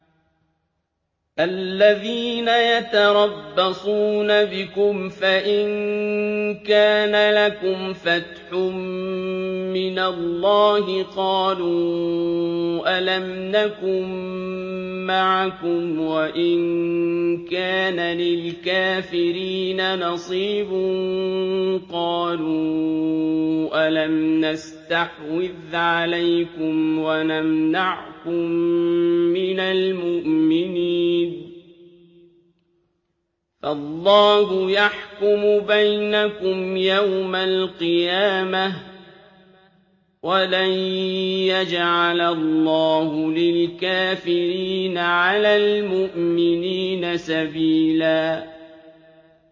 الَّذِينَ يَتَرَبَّصُونَ بِكُمْ فَإِن كَانَ لَكُمْ فَتْحٌ مِّنَ اللَّهِ قَالُوا أَلَمْ نَكُن مَّعَكُمْ وَإِن كَانَ لِلْكَافِرِينَ نَصِيبٌ قَالُوا أَلَمْ نَسْتَحْوِذْ عَلَيْكُمْ وَنَمْنَعْكُم مِّنَ الْمُؤْمِنِينَ ۚ فَاللَّهُ يَحْكُمُ بَيْنَكُمْ يَوْمَ الْقِيَامَةِ ۗ وَلَن يَجْعَلَ اللَّهُ لِلْكَافِرِينَ عَلَى الْمُؤْمِنِينَ سَبِيلًا